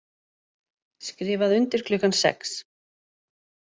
Skrifað undir klukkan sex